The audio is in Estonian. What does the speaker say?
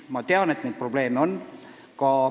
Ma tean, et neid probleeme on.